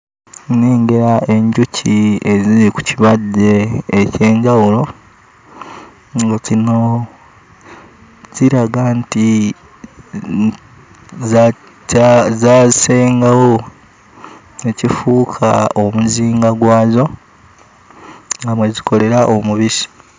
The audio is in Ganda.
Nnengera enjuki eziri ku kibajje eky'enjawulo, nga kino kiraga nti za... zaasengawo ne kifuuka omuzinga gwazo nga mwe zikolera omubisi.